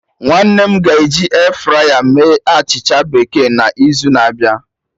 Nwanne m ga eji airfryer mee achịcha bekee n'izu na-abịa